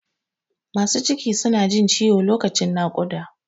Masu ciki su na jin ciwo lokacin naƙUda